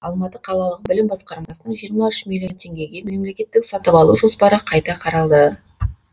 алматы қалалық білім басқармасының жиырма үш миллион теңгеге мемлекеттік сатып алу жоспары қайта қаралды